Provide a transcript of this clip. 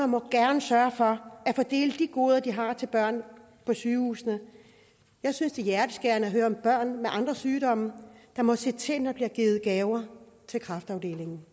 må gerne sørge for at fordele de goder de har til børn på sygehusene jeg synes det er hjerteskærende at høre om børn med andre sygdomme der må se til når der bliver givet gaver til kræftafdelingen